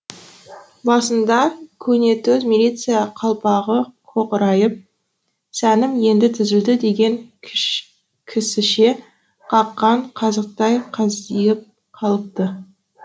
басында көнетоз милиция қалпағы қоқырайып сәнім енді түзілді деген кісіше қаққан қазықтай қаздиып қалыпты